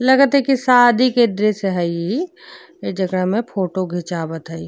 लगथ ह की शादी के ड्रेस हइ जेकरा में फोटो घिचावत हय --